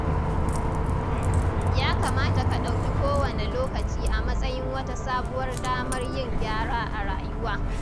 Ya kamata ka ɗauki kowane lokaci a matsayin wata sabuwar damar yin gyara a rayuwa.